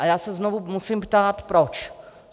A já se znovu musím ptát proč.